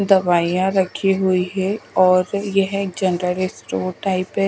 दवाइयां रखी हुई है और यह एक जनरल स्टोर टाइप है।